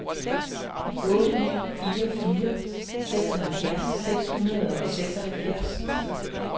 otte ni fire fire seksoghalvfjerds seks hundrede og seksoghalvfjerds